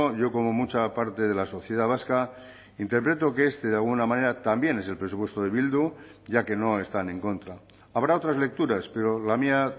yo como mucha parte de la sociedad vasca interpreto que este de alguna manera también es el presupuesto de bildu ya que no están en contra habrá otras lecturas pero la mía